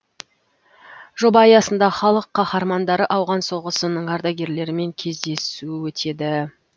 жоба аясында халық қаһармандары ауған соғысының ардагерлерімен кездесу өтеді